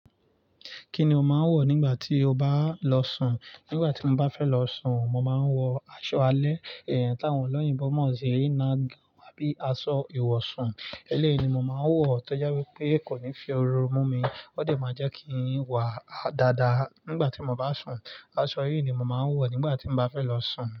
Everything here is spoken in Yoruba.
Kíni o máa ń wọ̀ nígbà tí o bá lọ sùn? Nígbà tí mo bá fẹ́ lọ sùn, mo máa ń wọ aṣọ alẹ́, èyi táwọn ọlọ́yinbo mọ̀ sí "night gown" àbí asọ ìwọ̀sùn. Eléèni mo máa wọ̀ tó jẹ́ wípé kò ní fi oru múmi, ó de máa jẹ́ kín wà dáadáa nígbà tí mo bá sùn. Aṣọ yìí ni mo máa ń wọ̀ nígbà tí mo bá fẹ́ lọ sùn.